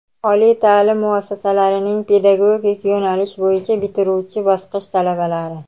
oliy taʼlim muassasalarining pedagogik yo‘nalish bo‘yicha bitiruvchi bosqich talabalari;.